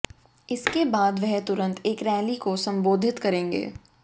इसके बाद वह तुरंत एक रैली को संबोधित करेंगे